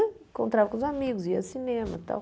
Encontrava com os amigos, ia ao cinema e tal.